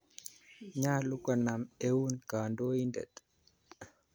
Nyalu konam eun kandoindet.